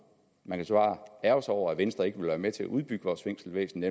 man kan så ærgre sig over at venstre ikke vil være med til at udbygge vores fængselsvæsen